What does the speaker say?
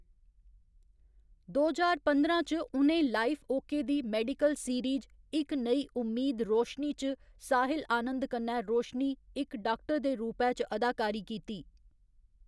दो ज्हार पंदरां च, उ'नें लाइफ ओके दी मेडिकल सीरीज एक नई उम्मीद रोशनी च साहिल आनंद कन्नै रोशनी, इक डाक्टर दे रूपै च अदाकारी कीती।